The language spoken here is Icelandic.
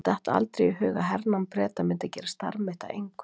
Mér datt aldrei í hug að hernám Breta myndi gera starf mitt að engu.